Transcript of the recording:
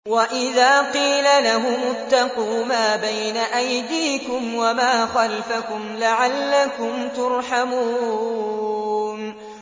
وَإِذَا قِيلَ لَهُمُ اتَّقُوا مَا بَيْنَ أَيْدِيكُمْ وَمَا خَلْفَكُمْ لَعَلَّكُمْ تُرْحَمُونَ